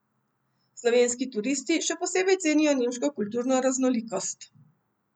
Slovenski turisti še posebej cenijo nemško kulturno raznolikost.